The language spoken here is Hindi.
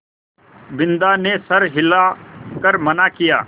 बिन्दा ने सर हिला कर मना किया